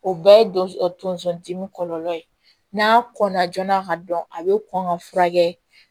O bɛɛ ye don tonso dimi kɔlɔlɔ ye n'a kɔnna joona ka dɔn a bɛ kɔn ka furakɛ